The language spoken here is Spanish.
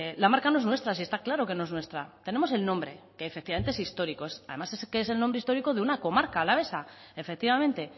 la marca no es nuestra si está claro que no es nuestra tenemos el nombre que efectivamente es histórico además es el nombre histórico de una comarca alavesa efectivamente